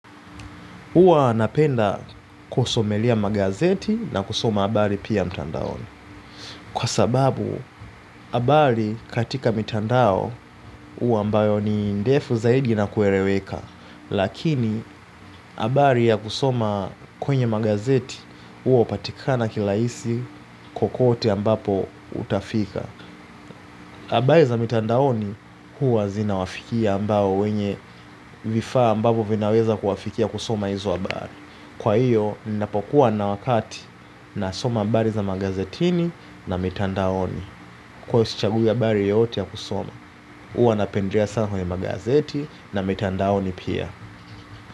Huwa napenda kusomelea magazeti na kusoma abari pia mtandaoni. Kwa sababu, abari katika mitandao uwa ambayo ni ndefu zaidi na kueleweka. Lakini, abari ya kusoma kwenye magazeti, uwa upatikana kilaisi kokote ambapo utafika. Abari za mitandaoni, huwa zinawafikia ambao wenye vifaa ambavo vinaweza kuwafikia kusoma izo abari. Kwa hiyo ninapokuwa na wakati nasoma abari za magazetini na mitandaoni huwa sichagui abari yoyote ya kusoma. Uwa napendlea sana kwenye magazeti na mitandaoni pia.